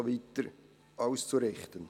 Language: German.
] auszurichten.